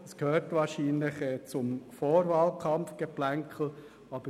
Das ist wahrscheinlich auf den Vorwahlkampf zurückzuführen.